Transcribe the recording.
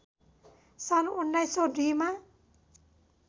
सन् १९०२ मा